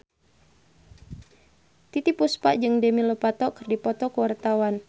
Titiek Puspa jeung Demi Lovato keur dipoto ku wartawan